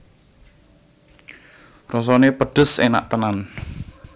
Rasané pedhes enak tenan